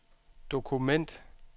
dokument